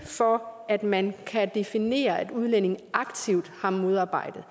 for at man kan definere at udlændingen aktivt har modarbejdet